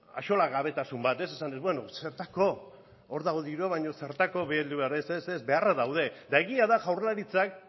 axolagabetasun bat ez esanez bueno zertarako hor dago dirua baino zertarako bildu behar ez ez beharrak daude eta egia da jaurlaritzak